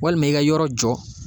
Walima i ka yɔrɔ jɔ